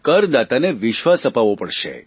કરદાતાને વિશ્વાસ અપાવવો પડશે